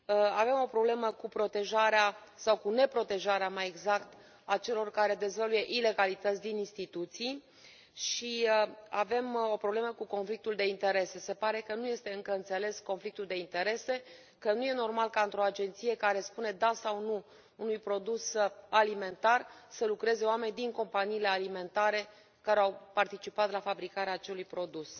Avem o problemă cu protejarea sau cu neprotejarea, mai exact, a acelor care dezvăluie ilegalități din instituții și avem o problemă cu conflictul de interese, se pare că nu este încă înțeles conflictul de interese, că nu este normal ca, într o agenție care spune da sau nu unui produs alimentar să lucreze oameni din companiile alimentare care au participat la fabricarea acelui produs.